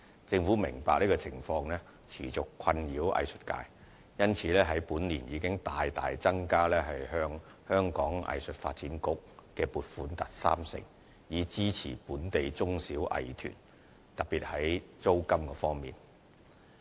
政府明白這情況持續困擾藝術界，因此，本年已大大增加對香港藝術發展局的撥款達三成，以支持本地中小藝團，特別在租金方面。